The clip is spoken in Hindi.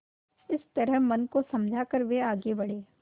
इस तरह मन को समझा कर वे आगे बढ़े